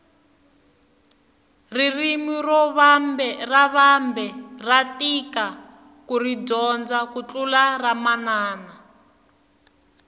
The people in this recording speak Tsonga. ririmi ra vambe ra tika kuri dyondza ku tlula ramanana